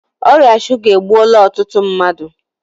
Ọrịa shuga egbuola ọtụtụ mmadụ